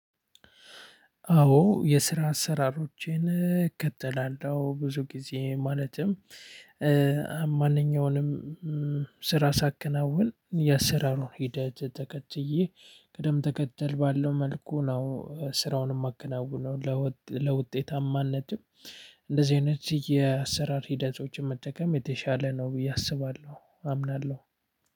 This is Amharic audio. አዎ የስራ አሰራሮቼን እከተላለሁ ብዙ ጊዜ ማለትም ማንኛውንም ስራ ሳከናውን የአሰራሩን ሂደት ተከትዬ ቅደም ተከተል ባለው መልኩ ነው ስራውን እማከናውነው። ለውጤታማነትም እንደዚህ አይነት የአሰራር ሂደቶችን መጠቀም የተሻለ ነው ብዬ አስባለሁ አምናለሁ።